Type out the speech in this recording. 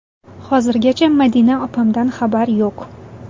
Hozirgacha Madina opamdan xabar yo‘q.